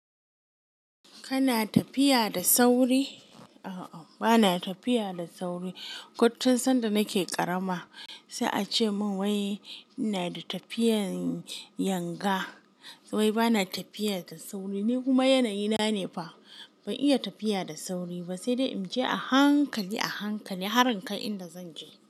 Kana tafiya da sauri? A'a, bana tafiya da sauri. Koccan sanda nake ƙarama, sai a ce min wai ina da tafiyan yanga. Wai bana tafiya da sauri. Ni kuma yanayi na ne fa, ban iya tafiya da sauri ba, sai dai in je a hankali, a hankali, har in kai inda zan je.